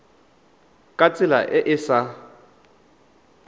ka tsela e e sa